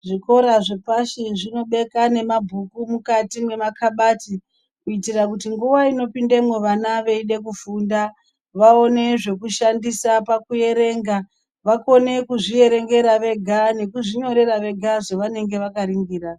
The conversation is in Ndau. Zvikora zvepashi zvinobeka nemabhuku mukati mwema kabhadhi kuitira kuti nguwa inopundemwo vana veide kufufunda vaone zvekushandisa pakuerenga vakone kuzvierengera vega nekuzvinyorera vega zvavanenge vakaringira.